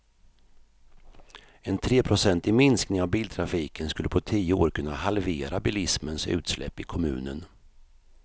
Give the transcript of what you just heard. En treprocentig minskning av biltrafiken skulle på tio år kunna halvera bilismens utsläpp i kommunen.